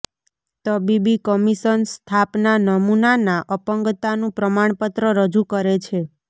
તબીબી કમિશન સ્થાપના નમૂનાના અપંગતાનું પ્રમાણપત્ર રજૂ કરે છે